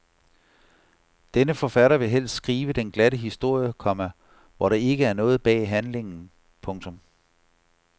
Denne forfatter vil helst skrive den glatte historie, komma hvor der ikke er noget bag handlingen. punktum